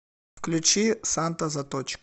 включи санта заточка